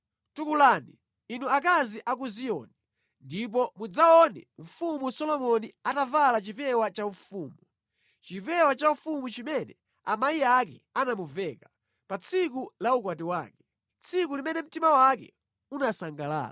Tukulani inu akazi a ku Ziyoni ndipo mudzaone mfumu Solomoni atavala chipewa chaufumu, chipewa chaufumu chimene amayi ake anamuveka pa tsiku la ukwati wake, tsiku limene mtima wake unasangalala.